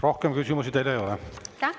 Rohkem küsimusi teile ei ole.